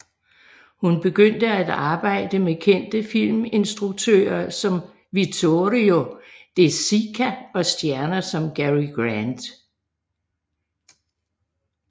Hun begyndte at arbejde med kendte filminstruktører som Vittorio De Sica og stjerner som Cary Grant